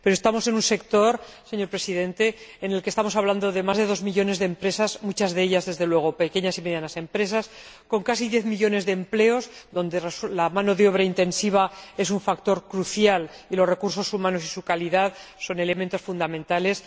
Pero estamos en un sector, señor Presidente, en el que hablamos de más de dos millones de empresas, muchas de ellas, desde luego, pequeñas y medianas empresas, con casi diez millones de empleos, donde la mano de obra intensiva es un factor crucial y los recursos humanos y su calidad son elementos fundamentales